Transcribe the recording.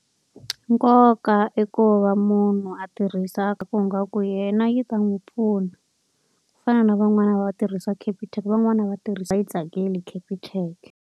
Nkoka i ku va munhu a tirhisa ku yena yi ta n'wi pfuna. Ku fana na van'wana va tirhisa Capitec van'wani va tirhisa yi tsakeli Capitec.